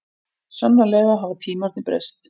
Sannarlega hafa tímarnir breyst.